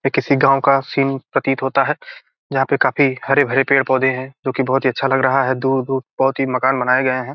ये किसी गांव का सीन का प्रतीत होता है जहाँ पे काफी हरे-भरे पेड़-पौधे है जो की बहुत अच्छा लग रहा है दूर-दूर बहुत ही मकान बनाए गए हैं |